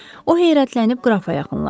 O heyrətlənib qrafa yaxınlaşdı.